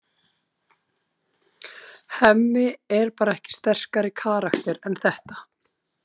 Hemmi er bara ekki sterkari karakter en þetta.